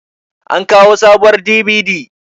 an kawo sabuwar DVD